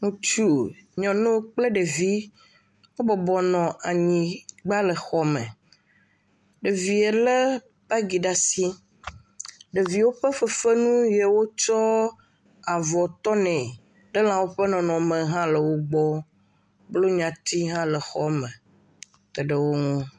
Ŋutsu, nyɔnu kple ɖevi. Wo bɔbɔnɔ anyigba le xɔ me. Ɖevia le bagi ɖe asi. Ɖeviwo ƒe fefenu ye wotsɔ avɔ tɔnɛ ɖe lãwo ƒe nɔnɔme hã le wo gbɔ. Blonya tsi hã le xɔ me teɖe wo nu.